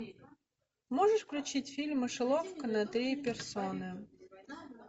можешь включить фильм мышеловка на три персоны